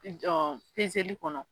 Ɔn pezeli kɔnɔ